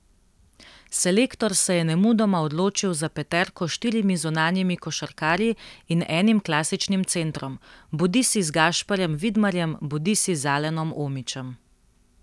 Selektor se je nemudoma odločil za peterko s štirimi zunanjimi košarkarji in enim klasičnim centrom, bodisi z Gašperjem Vidmarjem bodisi z Alenom Omićem.